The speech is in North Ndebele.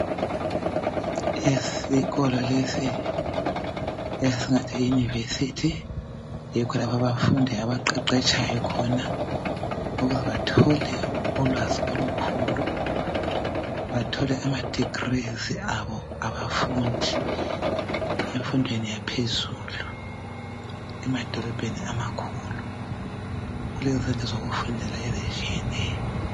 Isikolo lesi esingathi yiyunivesithi, yikho lapho abafundi abaqeqetsha khona ukuze bathole ulwazi olukhulu bathole amadegrees abo abafundi efundweni yaphezulu. Emadolobheni amakhulu kulezindlu zokufundela ezitshiyeneyo.